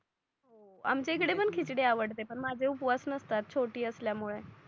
आमच्या इकडे पण खिचडी आवडते पण माझे उपवास नसतात छोटी असल्या मूळे